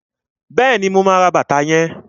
Bẹẹni, ma bá ẹ ra bàtà yẹn.